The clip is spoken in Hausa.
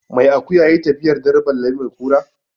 Mai akuya ya yi tafiyar dare balle mai kura.